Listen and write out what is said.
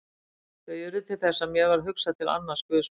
Þau urðu til þess að mér varð hugsað til annars guðsmanns.